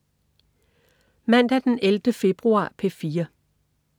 Mandag den 11. februar - P4: